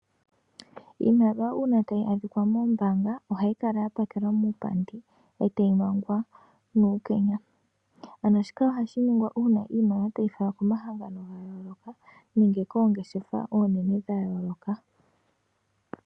Iimaliwa uuna ta yi adhikwa moombaanga oha yi kala ya pakelwa muupandi. Ee ta yi mwangwa nuukenya, ano shika oha shi ningwa uuna iimaliwa ta yi falwa komahangano gayooloka nenge koongeshefa oonene dhayooloka.